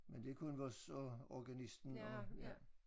Men det kun og og organisten og